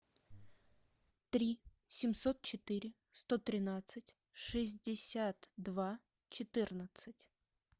три семьсот четыре сто тринадцать шестьдесят два четырнадцать